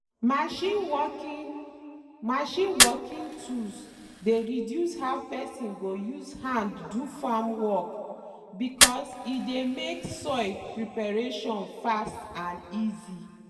machine working machine working tools dey reduce how person go use hand do farm work because e dey make soil preparation fast and easy.